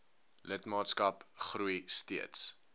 lidmaatskap groei steeds